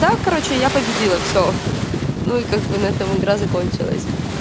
да короче я победила всё ну и как бы на этом игра закончилась